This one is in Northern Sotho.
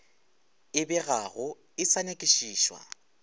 e begwago e sa nyakišišwa